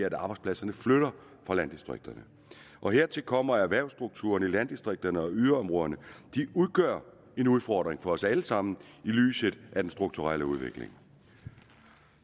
at arbejdspladserne flytter fra landdistrikterne og hertil kommer at erhvervsstrukturen i landdistrikterne og yderområderne udgør en udfordring for os alle sammen i lyset af den strukturelle udvikling